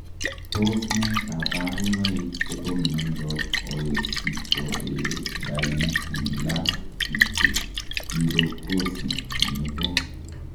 Tos ne kabarunoik chepo miondoop Ositoedaipilastit pirokosit nepoo